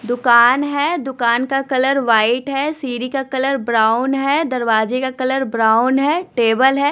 दुकान है दुकान का कलर व्हाइट है सीढ़ी का कलर ब्राउन है दरवाजे का कलर ब्राउन है टेबल है।